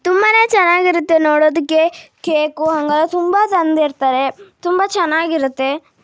ತುಂಬಾನೇ ಚೆನ್ನಾಗಿರುತ್ತೆ ನೋಡೋದಕ್ಕೆ ಕೇಕು ಹಾಗಾಗಿ ತುಂಬಾ ತಂದಿರುತ್ತಾರೆ ತುಂಬಾ ಚೆನ್ನಾಗಿರುತ್ತೆ.